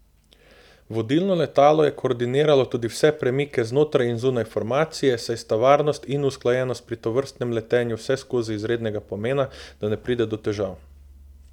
Vodilno letalo je koordiniralo tudi vse premike znotraj in zunaj formacije, saj sta varnost in usklajenost pri tovrstnem letenju vseskozi izrednega pomena, da ne pride do težav.